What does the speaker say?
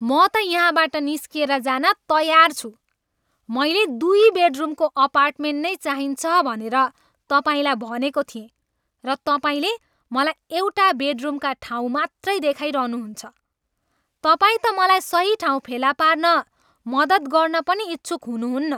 म त यहाँबाट निस्किएर जान तयार छु। मलाई दुई बेडरुमको अपार्टमेन्ट नै चाहिन्छ भनेर तपाईँलाई भनेको थिएँ, र तपाईँले मलाई एउटा बेडरुमका ठाउँ मात्रै देखाइरहनु हुन्छ। तपाईँ त मलाई सही ठाउँ फेला पार्न मद्दत गर्न पनि इच्छुक हुनुहुन्न।